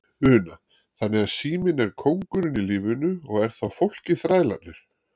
Una: Þannig að síminn er kóngurinn í lífinu og er þá fólkið þrælarnir?